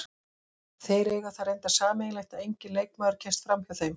Þeir eiga það reyndar sameiginlegt að enginn leikmaður kemst framhjá þeim.